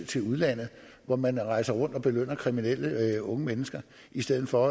til udlandet hvor man rejser rundt og belønner kriminelle unge mennesker i stedet for